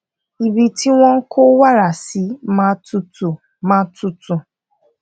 ibi tí wón kó wàrà sí máa tutù máa tutù